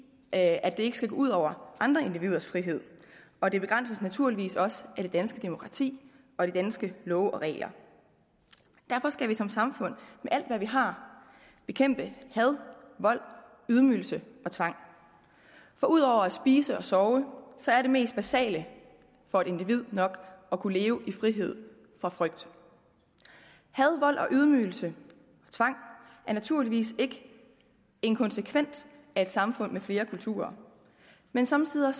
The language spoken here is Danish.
at det ikke skal gå ud over andre individers frihed og det begrænses naturligvis også af det danske demokrati og de danske love og regler derfor skal vi som samfund med alt hvad vi har bekæmpe had vold ydmygelse og tvang for ud over at spise og sove er det mest basale for et individ nok at kunne leve i frihed fra frygt had vold ydmygelse og tvang er naturligvis ikke en konsekvens af et samfund med flere kulturer men somme tider